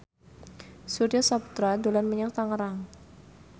Surya Saputra dolan menyang Tangerang